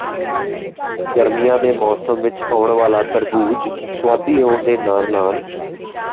ਗਰਮੀਆਂ ਦੇ ਮੌਸਮ ਵਿਚ ਆਉਣ ਵਾਲਾ ਤਰਬੂਜ ਸੁਆਦੀ ਹੋਣ ਦੇ ਨਾਲ ਨਾਲ